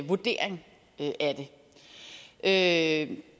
vurdering af